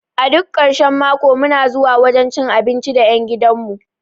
A duk karshen mako muna zuwa wajan cin abinci da ƴan gidan mu